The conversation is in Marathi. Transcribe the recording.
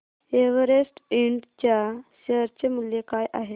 एव्हरेस्ट इंड च्या शेअर चे मूल्य काय आहे